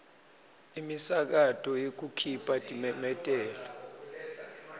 imisakato yekukhipha timemetelo